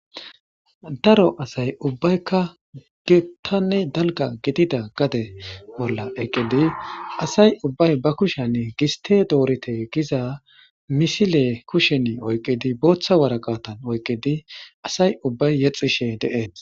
Daro asay ubbaykka biitan dalgga gidida bolla gade bolla eqqidi asay ubbay ba kushshiyan gistte doriththe Giza misile kushshenni booththa woraqata oykkidi asay ubbay yedhdhishshe de'es.